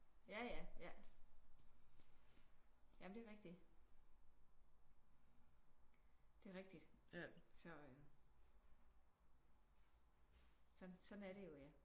Ja ja ja. Ja men det er rigtigt. Det er rigtigt så øh sådan er det jo ja